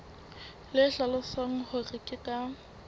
le hlalosang hore ke ka